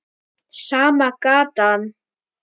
Sama gatan.